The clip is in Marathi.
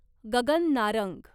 गगन नारंग